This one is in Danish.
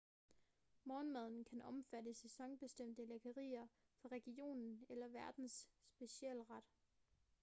morgenmaden kan omfatte sæsonbestemte lækkerier fra regionen eller værtens specialret